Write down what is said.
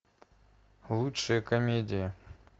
лучшие комедии